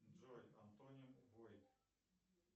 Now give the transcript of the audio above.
джой антони бойд